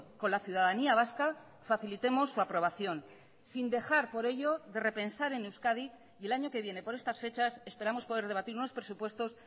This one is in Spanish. con la ciudadanía vasca facilitemos su aprobación sin dejar por ello de repensar en euskadi y el año que viene por estas fechas esperamos poder debatir unos presupuestos